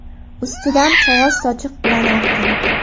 Ustidan qog‘oz sochiq bilan arting.